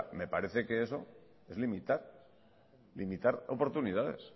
me parece que eso es limitar limitar oportunidades